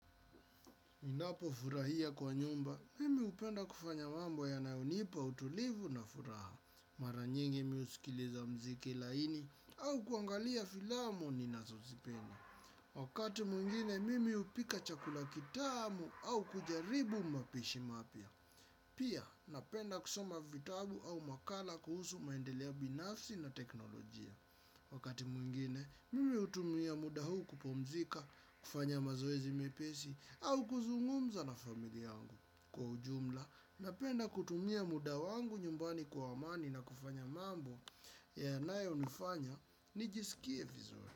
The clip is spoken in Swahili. Ninapo furahia kwa nyumba, mimi hupenda kufanya mambo yanayonipa utulivu na furaha. Mara nyingi mi husikiliza muziki laini au kuangalia filamu ninazozipenda. Wakati mwingine, mimi hupika chakula kitamu au kujaribu mapishi mapya. Pia, napenda kusoma vitabu au makala kuhusu maendeleo binafsi na teknolojia. Wakati mwingine, mimi hutumia muda huu kupumzika, kufanya mazoezi mepesi, au kuzungumza na famili yangu. Kwa ujumla, napenda kutumia muda wangu nyumbani kwa amani na kufanya mambo yanayonifanya, nijisikie vizuri.